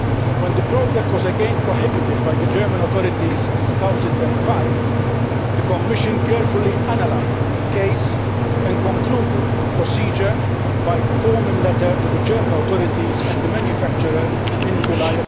When the product was again prohibited by the German authorities in 2005, the Commission carefully analysed the case and concluded the procedure by formal letter to the German authorities and the manufacturer in July